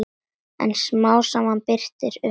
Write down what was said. En smám saman birtir upp.